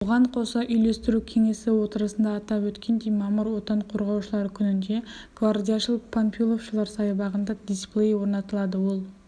бұған қоса үйлестіру кеңесі отырысында атап өткендей мамыр отан қорғаушылар күнінде гвардияшыл-панфиловшылар саябағында дисплей орнатылады ол